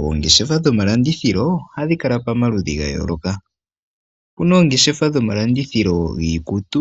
Oongeshefa dhomalandithilo ohadhi kala pamaludhi ga yooloka. Opu na oongeshefa dhomalandithilo giikutu,